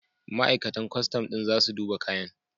Ma'aikatan kwastam ɗin za su duba kayan.